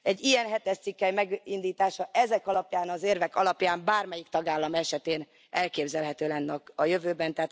Egy ilyen hetes cikkely megindítása ezek alapján az érvek alapján bármelyik tagállam esetén elképzelhető lenne a jövőben.